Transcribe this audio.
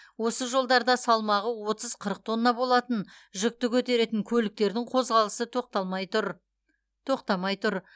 осы жолдарда салмағы отыз қырық тонна болатын жүкті көтеретін көліктердің қозғалысы тоқтамай тұр